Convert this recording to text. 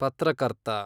ಪತ್ರಕರ್ತ